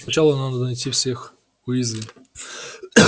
но сначала надо найти всех уизли